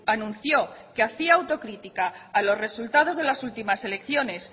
anunció que hacía autocrítica a los resultados de las últimas elecciones